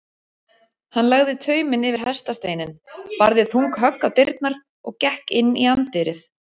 Hann lagði tauminn yfir hestasteininn, barði þung högg á dyrnar og gekk inn í anddyrið.